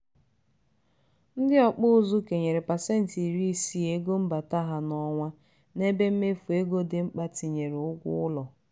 ndị ọkpụ ụzụ kenyere pasenti iri isii ego mbata ha n'ọnwa n'ebe mmefu ego di mkpa tinyere ụgwọ ụlọ.